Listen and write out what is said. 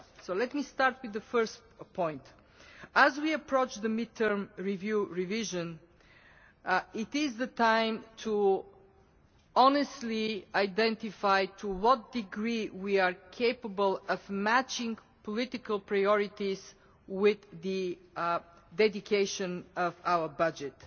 So let me start with the first point. As we approach the midterm review revision, it is time to honestly identify to what degree we are capable of matching political priorities with the dedication of our budget.